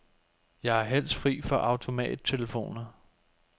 Jeg er helst fri for automattelefoner.